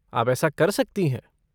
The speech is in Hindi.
आप ऐसा कर सकती हैं।